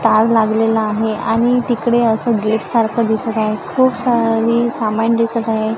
तार लागलेला आहे आणि तिकडे असं गेट सारखं दिसत आहे खूप सारी सामान दिसत आहे.